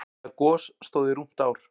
Það gos stóð í rúmt ár.